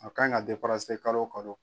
A ka ɲi ka kalo o kalo.